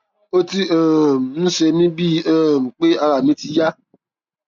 ó ti um ń ṣe mí bíi um pé ara mi ti yá